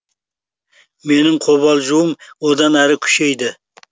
менің қобалжуым одан әрі күшейді